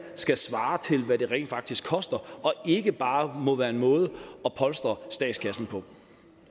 skal svare til hvad det rent faktisk koster og ikke bare må være en måde at polstre statskassen på